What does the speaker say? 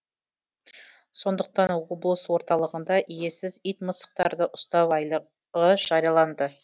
сондықтан облыс орталығында иесіз ит мысықтарды ұстау айлығы жарияланды